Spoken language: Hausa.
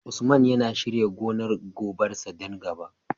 Usman yana shirya gonar gobar sa don gaba